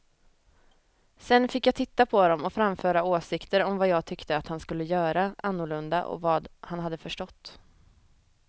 Sedan fick jag titta på dem och framföra åsikter om vad jag tyckte att han skulle göra annorlunda och vad han hade förstått.